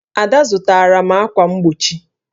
Ada zụtara m ákwà mgbochi